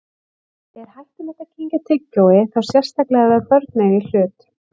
Er hættulegt að kyngja tyggjói, þá sérstaklega ef börn eiga í hlut?